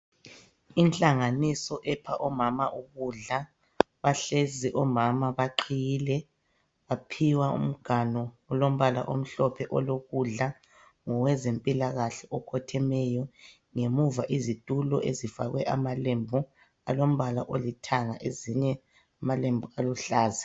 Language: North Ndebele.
Inhlanganiso epha omama ukudla, bahlezi omama baqhiyile baphiwa umganu olombala omhlophe olo kudla ngowe zempilakahle okhothemeyo ,ngemuva izitulo ezifakwe amalembu alombala olithanga ezinye amalembu aluhlaza.